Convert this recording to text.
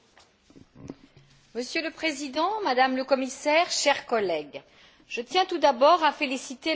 Monsieur le Président, Madame la Commissaire, chers collègues, je tiens tout d'abord à féliciter le rapporteur, M.